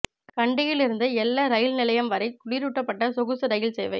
கண்டியில் இருந்து எல்ல ரெயில் நிலையம் வரையில் குளிரூட்டப்பட்ட சொகுசு ரெயில் சேவை